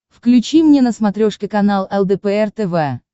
включи мне на смотрешке канал лдпр тв